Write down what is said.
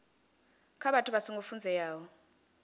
kha vhathu vha songo funzeaho